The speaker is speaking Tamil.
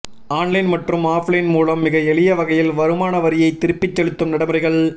ஆன்லைன் மற்றும் ஆஃப்லைன் மூலம் மிக எளிய வகையில் வருமானவரியைத் திருப்பிச் செலுத்தும் நடைமுறைகள்